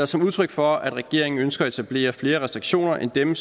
som udtryk for at regeringen ønsker at etablere flere restriktioner end dem